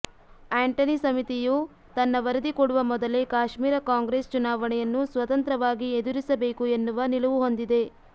Antony ಸಮಿತಿಯು ತನ್ನ ವರದಿ ಕೊಡುವ ಮೊದಲೇ ಕಾಶ್ಮೀರ ಕಾಂಗ್ರೆಸ್ ಚುನಾವಣೆಯನ್ನು ಸ್ವತಂತ್ರವಾಗಿ ಎದುರಿಸಬೇಕು ಎನ್ನುವ ನಿಲುವು ಹೊಂದಿದೆ